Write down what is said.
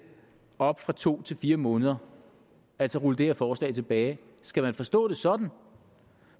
op fra to til fire måneder altså rulle det her forslag tilbage skal man forstå det sådan